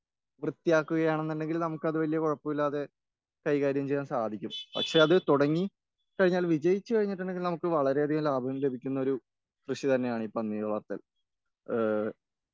വൃത്തിയാകുകയാന്നുണ്ടെങ്കില് നമുക്ക് അത് വല്യേ കുഴപ്പല്ലാതെ കൈകാര്യം ചെയ്യാൻ സാധിക്കും.പക്ഷെ അത് തുടങ്ങി കഴിഞ്ഞാൽ വിജയിച്ച് കഴിഞ്ഞിട്ടുണ്ടെങ്കില് നമുക്ക് വളരെയധികം ലാഭം ലഭിക്കുന്ന കൃഷി തന്നെയാണ് ഈ പന്നി വളർത്തൽ.